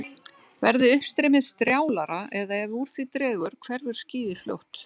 Verði uppstreymið strjálara eða ef úr því dregur hverfur skýið fljótt.